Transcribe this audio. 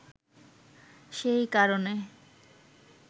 সেই কারণে